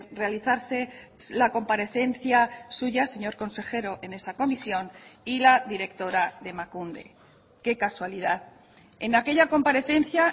realizarse la comparecencia suya señor consejero en esa comisión y la directora de emakunde qué casualidad en aquella comparecencia